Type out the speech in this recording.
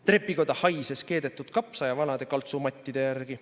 Trepikoda haises keedetud kapsa ja vanade kaltsumattide järgi.